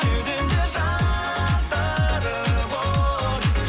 кеудемде жандырып от